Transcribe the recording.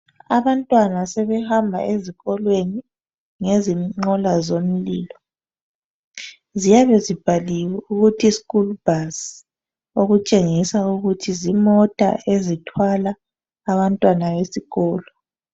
Abantwana sebehamba ezikolweni ngezinqola zomlilo. Ziyabe zibhaliwe ukuthi "school bus". Okutshengisa ukuthi zimota ezithwala abantwana besikolo.